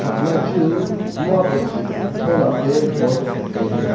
thakma chu mua t-tholapa bulb tailey.